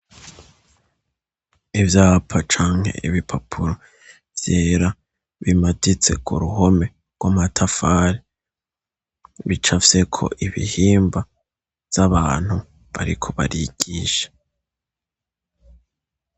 Ivyapa canke ibipapuro vyera bimaditse ku ruhome rw'amatafari ,bicapfyeko ibihimba vy'abantu bariko barigisha.